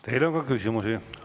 Teile on ka küsimusi.